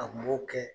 A kun b'o kɛ